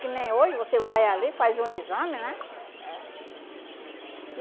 Que nem hoje, você vai ali, faz um exame, né? É